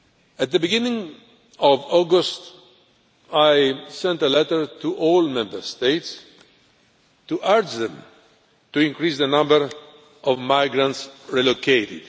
call. At the beginning of August, I sent a letter to all Member States to urge them to increase the number of migrants relocated.